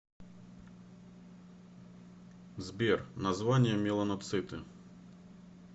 сбер название меланоциты